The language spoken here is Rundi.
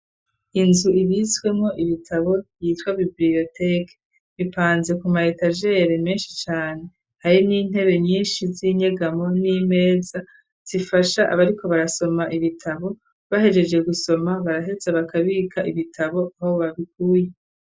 iynzu ibitswemwo ibitabo yitwa bibiriyoteke .Bipanze ku mayetagere menshi cane hari n'intebe nyinshi z'inyegamo n'imeza zifasha abariko barasoma ibitabo bahejeje gusoma barahetse bakabika ibitabo aho babikuye.